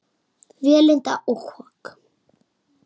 Vélinda og kok